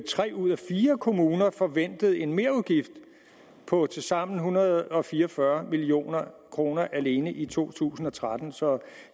tre ud af fire kommuner forventede en merudgift på tilsammen en hundrede og fire og fyrre million kroner alene i to tusind og tretten så